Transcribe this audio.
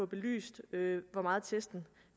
belyst hvor meget testen